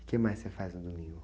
O que mais você faz no domingo?